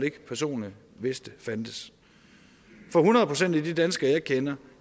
ikke personlig vidste fandtes for hundrede procent af de danskere jeg kender